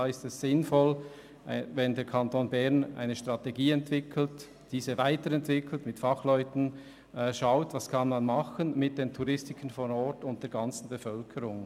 Es ist daher sinnvoll, wenn der Kanton Bern eine Strategie entwickelt und diese mit Fachleuten, Touristikern und der Bevölkerung vor Ort weiterentwickelt und prüft, was man tun kann.